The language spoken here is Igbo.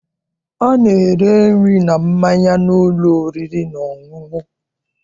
A na-ere nri na mmanya n'ụlọ oriri na ọṅụṅụ.